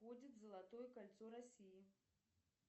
входит золотое кольцо россии